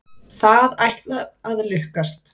Það ætlar að lukkast.